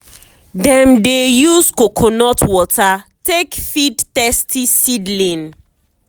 dem dey use coconut water take feed thirsty seedling.